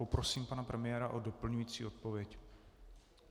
Poprosím pana premiéra o doplňující odpověď.